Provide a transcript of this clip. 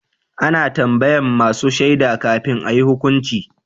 A na tambayan masu shaida kafin a yi hukunci